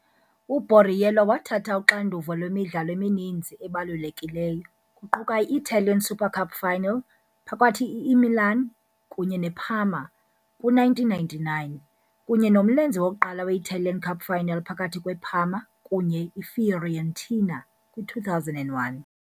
U-Borriello wathatha uxanduva lwemidlalo emininzi ebalulekileyo, kuquka i-Italian Super Cup final phakathi Imilan kunye neParma, kwi-1999, kunye nomlenze wokuqala we-Italian Cup final phakathi kweParma kunye Ifiorentina, kwi-2001.